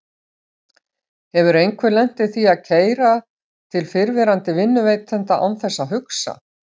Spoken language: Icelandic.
Hefur einhver lent í því að keyra til fyrrverandi vinnuveitanda án þess að hugsa?